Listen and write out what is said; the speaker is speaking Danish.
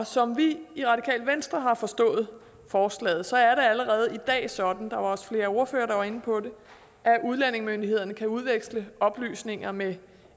som vi i radikale venstre har forstået forslaget er det allerede i dag sådan der var også flere ordførere der var inde på det at udlændingemyndighederne kan udveksle oplysninger med